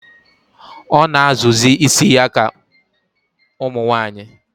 O na azụ zi ísì ya ka umunwanyi